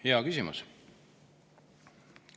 Hea küsimus!